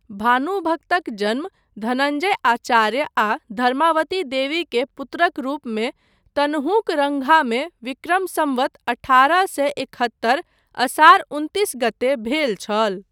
भानुभक्तक जन्म धनञ्जय आचार्य आ धर्मावतीदेवी के पुत्रक रूपमे तनहूँक रंघामे विक्रम सम्वत अठारह सए एकहत्तर असार उनतिस गते भेल छल।